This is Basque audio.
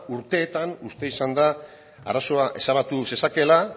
urteetan uste izan da arazoa ezabatu zezakeela